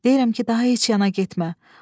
Deyirəm ki, daha heç yana getmə.